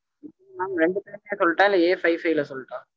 mam ரெண்டு phone மே சொல்லட்டா? இல்ல Afive five ல சொல்லட்டா?